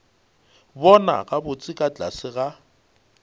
bona gabotse ka tlase ga